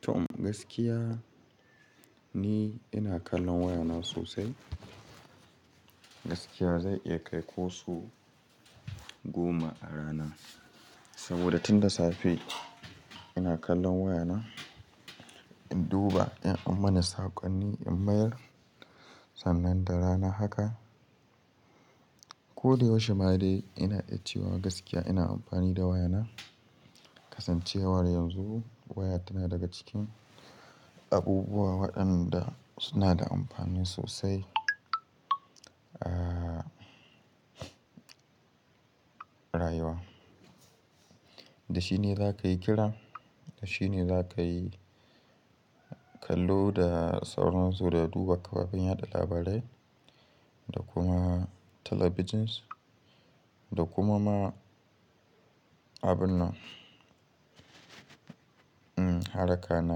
Tom, gaskiya ni ina kallon wayana sosai. Gaskiya zai iya kai ko so goma a rana. Saboda tun da safe ina kallon wayana, in duba in an mana saƙonni, in mayar. Sannan da rana haka, ko da yaushe ma dai ina iya cewa gaskiya ina amfani da wayana. Kasancewar yanzu waya tana daga cikin abubuwa waɗanda suna da amfani sosai a rayuwa. Da shi ne za ka yi kira, da shi ne za ka yi kallo da sauran su da duba kafafen yaɗa labarai da kuma talabijin da kuma ma abin nan, hmm, harka na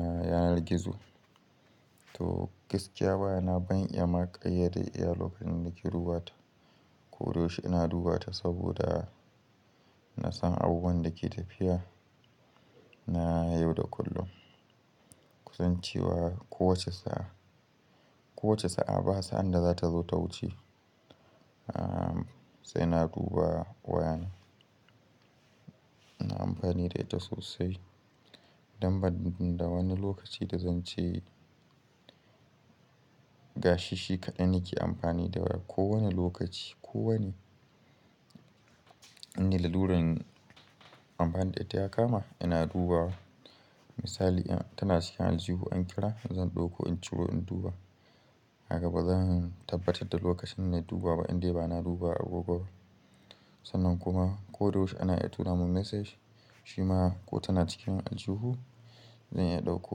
yanar gizo. To gaskiya waya ban iya ma kayade da iya lokacin da nake duba ta. Ko da yaushe ina duba ta saboda na san abubuwan da ke tafiya na yau da kullum. Kasancewa ko wace sa'a, ko wace sa'a basa'an da za ta zo ta wuce. Aa, sai na duba wayana. Ina amfani da ita sosai. Dan ban da wani lokaci da zan ce gashi shi kaɗai nake amfani da waya. Ko wane lokaci, ko wane, in da laluran amfani da ita ya kama ina duba. Misali in tana cikin aljihu an kira, zan ɗauko in ciro in duba. Haka bazan tabbatar da lokacin na duba ba indai bana duba a gobe ba. Sannan kuma ko da yaushe ana iya tura mun message, shima ko tana cikin aljihu zan iya ɗauko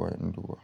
wa in duba.